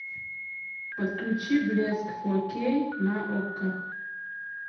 подключи блеск фор кей на окко